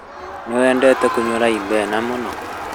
Nĩwendete kũnyua raibena mũno?